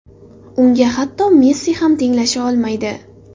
Unga hatto Messi ham tenglasha olmaydi”.